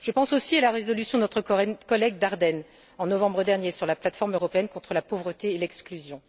Je pense aussi à la résolution de notre collègue Daerden, en novembre dernier, sur la plate forme européenne contre la pauvreté et l'exclusion.